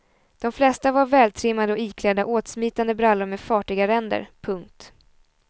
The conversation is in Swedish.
De flesta var vältrimmade och iklädda åtsmitande brallor med fartiga ränder. punkt